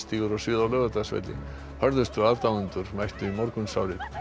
stígur á svið á Laugardalsvelli hörðustu aðdáendurnir mættu í morgunsárið